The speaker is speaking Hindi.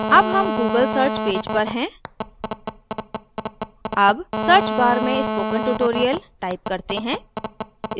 अब हम google search पेज पर हैं अब search bar में spoken tutorial type करते हैं